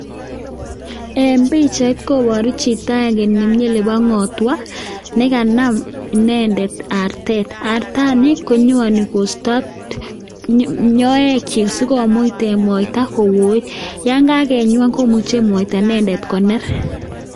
En pichait koboru chito agenge nemi olebo ng'otwa, ne kanam inendet artet. Artani ko nyoani kosto manyoekyik asi komuch koet. Yon kagenyoan komuche artet inendet koner.